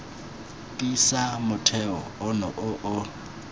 tiisa motheo ono o o